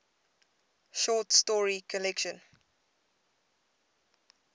short story collection